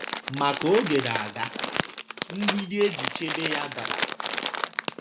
Ma ka oge na - aga, mgbidi e ji chebe ya dara